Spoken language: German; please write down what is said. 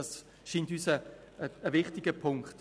Dies scheint uns ein wichtiger Punkt.